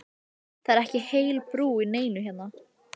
Það er ekki heil brú í neinu hérna!